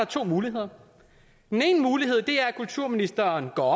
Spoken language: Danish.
to muligheder den ene mulighed er at kulturministeren går